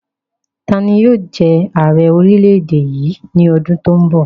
Tani yóò jẹ ààrẹ orílẹ̀-èdè yìí ní ọdún to n bọ̀?